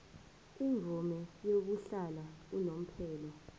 imvume yokuhlala unomphela